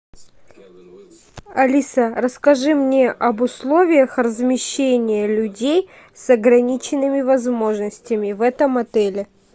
алиса расскажи мне об условиях размещения людей с ограниченными возможностями в этом отеле